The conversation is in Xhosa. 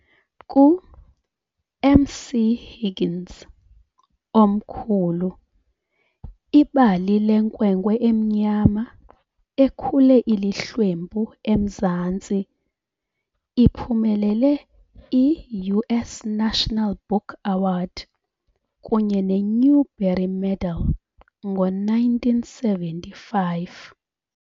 Ku "-MC Higgins, Omkhulu", ibali lenkwenkwe emnyama ekhule ilihlwempu eMzantsi, iphumelele i-US National Book Award kunye ne- Newbery Medal ngo-1975.